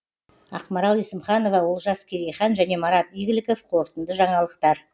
ақмарал есімханова олжас керейхан және марат игіліков қорытынды жаңалықтар